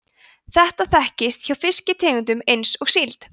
þetta þekkist hjá fiskitegundum eins og síld